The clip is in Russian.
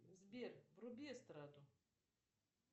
сбер вруби эстраду